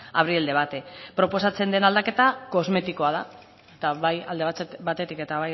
abrir el debate proposatzen den aldaketa kosmetikoa da eta bai alde batetik eta